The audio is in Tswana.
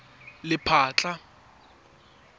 lephatla